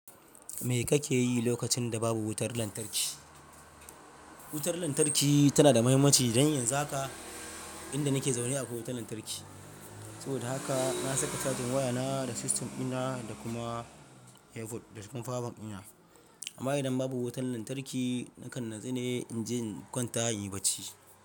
Me kake yi lokacin da babu wutar lantarki? Wutar lantarki tana da mahimmanci don yanzu haka inda nake zaune akwai wutar lantarki. Saboda haka na saka charging wayana da system ina da kuma earpod da cikin powerbank ina. Amma idan babu wutar lantarki nakan natsune injin kwanta inyi bacci.